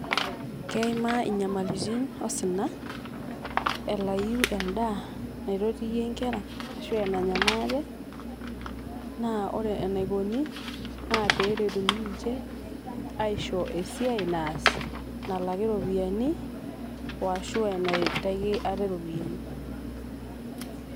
keima inyamalitin osina elayu endaa naitotie inkera ashu enanya maate. naa ore enaikoni naa peretuni ninche aisho esiai naas nalaki iropiyiani washu enaitaki ate iropiyiani